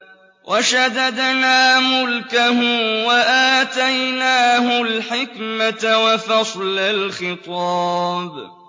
وَشَدَدْنَا مُلْكَهُ وَآتَيْنَاهُ الْحِكْمَةَ وَفَصْلَ الْخِطَابِ